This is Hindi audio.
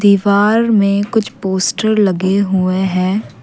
दीवार में कुछ पोस्टर लगे हुए हैं।